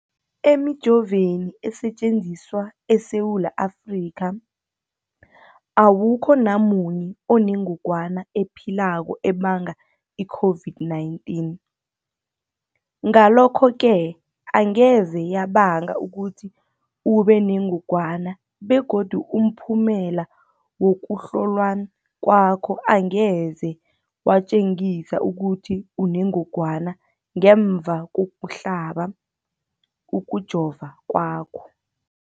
Emijoveni esetjenziswa eSewula Afrika, awukho namunye onengog wana ephilako ebanga i-COVID-19. Ngalokho-ke angeze yabanga ukuthi ubenengogwana begodu umphumela wokuhlolwan kwakho angeze watjengisa ukuthi unengogwana ngemva kokuhlaba, kokujova kwakho.